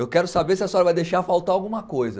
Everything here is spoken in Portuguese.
Eu quero saber se a senhora vai deixar faltar alguma coisa.